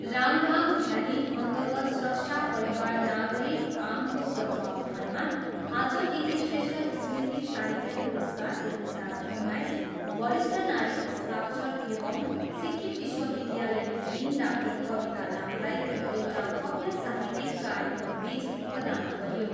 राङभाङ भ्यालीअर्न्तगत स्रष्टा परिवार नागरी फार्मको तत्त्वावधानमा आज डी श्रेष्ठ स्मृति साहित्य पुरस्कार दुई हजार उन्नाइस वरिष्ठ नारी हस्ताक्षर एवम् सिक्किम विश्वविद्यालयकी डिन डाक्टर कविता लामालाई एउटा भव्य साहित्यिक कार्यक्रमबिच प्रदान गरियो।